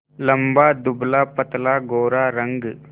लंबा दुबलापतला गोरा रंग